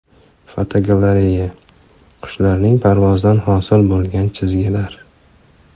Fotogalereya: Qushlarning parvozidan hosil bo‘lgan chizgilar.